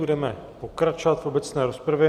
Budeme pokračovat v obecné rozpravě.